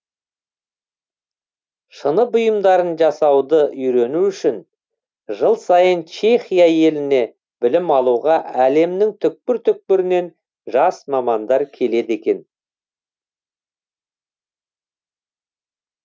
шыны бұйымдарын жасауды үйрену үшін жыл сайын чехия еліне білім алуға әлемнің түкпір түкпірінен жас мамандар келеді екен